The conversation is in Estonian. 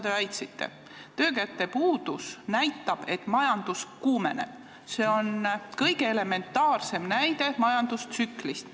Aga töökäte puudus näitab, et majandus kuumeneb – see on kõige elementaarsem näide majandustsükli kohta.